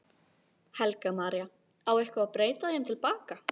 Helga María: Á eitthvað að breyta þeim til baka?